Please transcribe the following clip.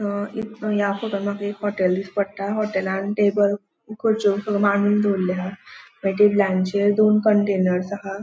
हा या फोटोत माका एक हॉटेल दिष्टि पट्टा हॉटेलान टेबल खुर्च्यो मांडून दवरल्यो हा त्या टेबलांचेर दोन कंटेनर्स आहा.